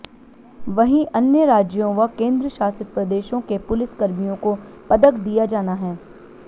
वहीं अन्य राज्यों व केंद्र शासित प्रदेशों के पुलिस कर्मियों को पदक दिया जाना है